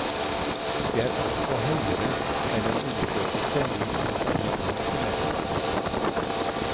Det er også høyere enn en undersøkelse gjort blant amerikanske menn.